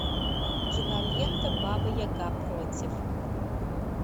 кинолента баба яга против